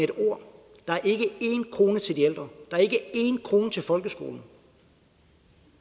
et ord der er ikke én krone til de ældre der er ikke én krone til folkeskolen